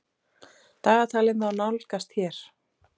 Dagatalið má nálgast hér.